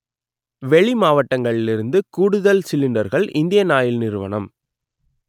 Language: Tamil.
வெளி மாவட்டங்களிலிருந்து கூடுதல் சிலிண்டர்கள் இந்தியன் ஆயில் நிறுவனம்